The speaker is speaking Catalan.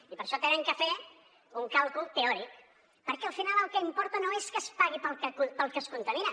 i per això han de fer un càlcul teòric perquè al final el que importa no és que es pagui pel que es contamina